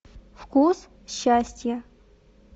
вкус счастья